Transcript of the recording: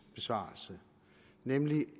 besvarelse nemlig